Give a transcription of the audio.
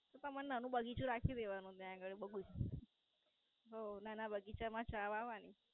તમારે નાનું બગીછું રાખી દેવાનું ત્યાં અગાળી બાગુચ. હઉ નાના બગીચામાં ચા વાવવાની.